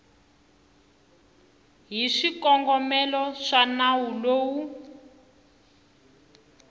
hi swikongomelo swa nawu lowu